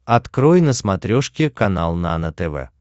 открой на смотрешке канал нано тв